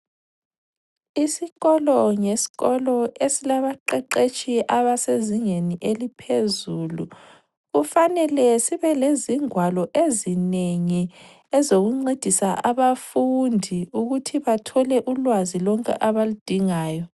Isikolo ngeskolo esilabaqeqetshi abasezingeni eliphezulu kufanele sibe lezingwalo ezinengi ezokuncedisa abafundi ukuthi bathole ulwazi lonke abaludingayo.